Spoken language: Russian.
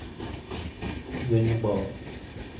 ганнибал